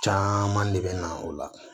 Caaman de bɛ na o la